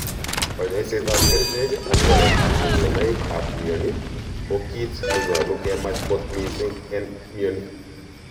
Konyoiset ap kerichek ak waletap kipsonaik ap mioni ko kit ne nyolu kemach kot mising en mioni.